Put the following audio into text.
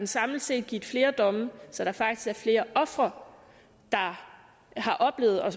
samlet set har givet flere domme så der faktisk er flere ofre der har oplevet